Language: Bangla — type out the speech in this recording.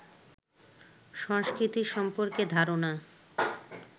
সংস্কৃতি সম্পর্কে ধারণা